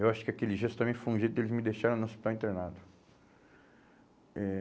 Eu acho que aquele gesto também foi um jeito de eles me deixarem no hospital internado. Eh